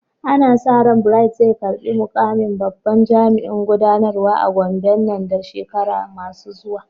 Ana sa ran Bright zai karbi mukamin babban jami'in gudanarwa a Gombe nan da shekaru masu zuwa.